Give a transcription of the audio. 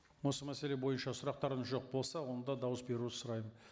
осы мәселе бойынша сұрақтарыңыз жоқ болса онда дауыс беруді сұраймын